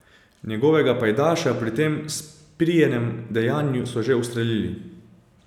Njegovega pajdaša pri tem sprijenem dejanju so že ustrelili.